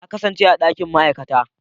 Na kasance a dakin ma'aikata.